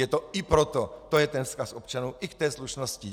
Je to i proto - to je ten vzkaz občanů - i v té slušnosti.